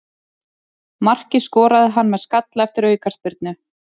Markið skoraði hann með skalla eftir aukaspyrnu.